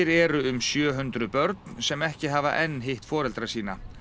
eru um sjö hundruð börn sem ekki hafa enn hitt foreldra sína